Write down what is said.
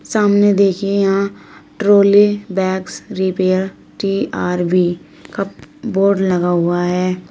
सामने देखिए यहां trolley bags repair T B R cup board लगा हुआ है।